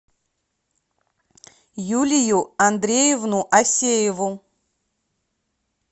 юлию андреевну асееву